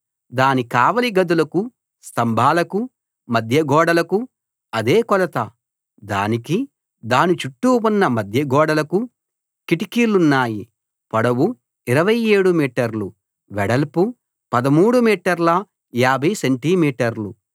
దాని కావలి గదులకు స్తంభాలకు మధ్యగోడలకు అదే కొలత దానికి దాని చుట్టూ ఉన్న మధ్య గోడలకు కిటికీలున్నాయి పొడవు 27 మీటర్లు వెడల్పు 13 మీటర్ల 50 సెంటి మీటర్లు